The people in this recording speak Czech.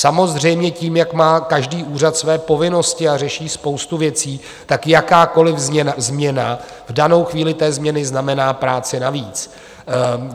Samozřejmě tím, jak má každý úřad své povinnosti a řeší spoustu věcí, tak jakákoliv změna v danou chvíli té změny znamená práci navíc.